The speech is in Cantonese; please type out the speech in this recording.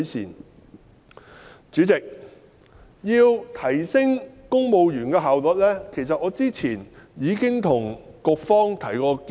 代理主席，關於提升公務員的效率，其實我早前已就此向局方提出建議。